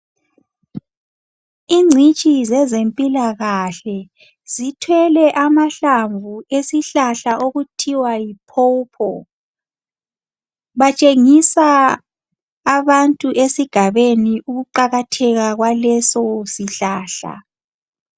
Ingcitshi zezempilakahle zithwele amahlamvu esihlahla okuthiwa yi "pawpaw".Batshengisa abantu esigabeni ukuqakatheka kwaleso sihlahla.